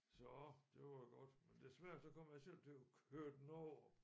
Så det var godt men desværre så kom jeg selv til at køre den over